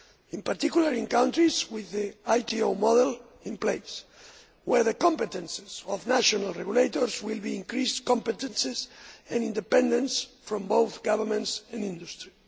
in particular in countries with the ITO model in place, where the competencies of national regulators will be increased, with independence from both governments and industry.